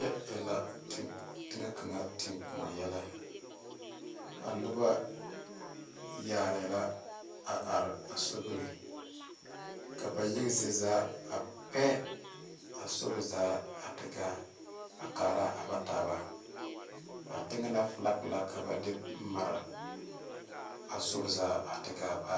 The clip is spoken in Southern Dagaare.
Kyɛ e la teŋɛ kaŋa tenkoɔ yɛlɛ a noba yaarɛɛ la a are a sobiri ka ba yaga zie zaa a pɛ a sori zaa a te gaa a kaara a ba taaba a teŋɛ na filaki la ka ba de mare a sori zaa a te gaa baare.